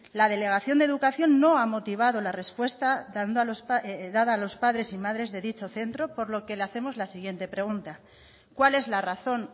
la delegación de educación no ha motivado la repuesta dada a los padres y madres de dicho centro por lo que le hacemos la siguiente pregunta cuál es la razón